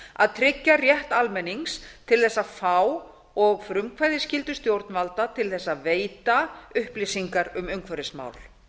að d tryggja rétt almennings til þess að fá og frumkvæðisskyldu stjórnvalda til þess að veita upplýsingar um umhverfismál